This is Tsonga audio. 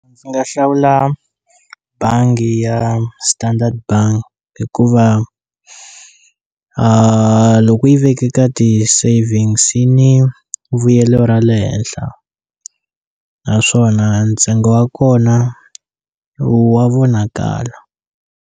Ndzi nga hlawula bangi ya Standard Bank hikuva loko yi veke ka ti-savings yi ni vuyelo ra le henhla naswona ntsengo wa kona wa vonakala.